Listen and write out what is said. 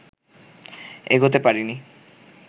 এগোতে পারিনি